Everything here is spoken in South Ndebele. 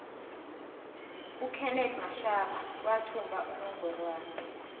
ukenethi mashaba wathumba inongorwana